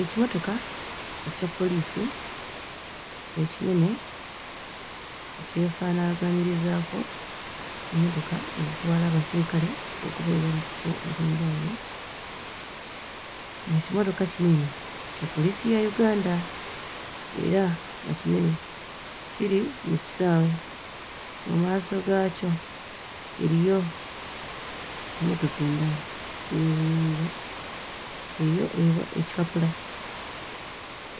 Ekimotoka ekya poliisi ekinene ekyefaanaagaanyizaako emmotoka ezitwala abasirikale okubayiwa mu bifo eby'enjawulo, ng'ekimotoka kino eno kya poliisi ya Uganda era nga kinene. Kiri mu kisaawe, mu maaso gaakyo eriyo emmotoka endala ey'obuyonjo, eriyo ekipapula